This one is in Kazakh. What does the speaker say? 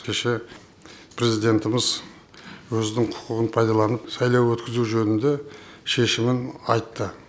кеше президентіміз өзінің құқығын пайдаланып сайлау өткізу жөнінде шешімін айтты